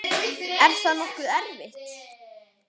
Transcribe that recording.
Er það nokkuð erfitt?